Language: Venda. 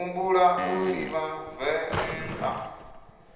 ḓi humbula u livha venḓa